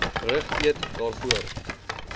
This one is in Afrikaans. rig eat daarvoor